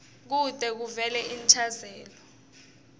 kute kuvele inchazelo